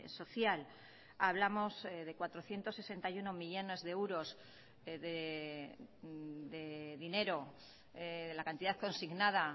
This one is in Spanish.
social hablamos de cuatrocientos sesenta y uno millónes de euros de dinero la cantidad consignada